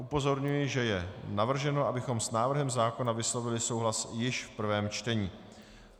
Upozorňuji, že je navrženo, abychom s návrhem zákona vyslovili souhlas již v prvém čtení.